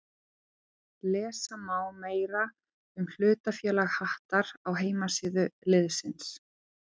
Lesa má meira um hlutafélag Hattar á heimasíðu liðsins.